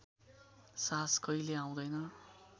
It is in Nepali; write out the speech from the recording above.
साहस कहिल्यै आउँदैन